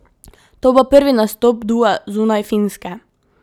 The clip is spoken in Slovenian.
To bo prvi nastop dua zunaj Finske.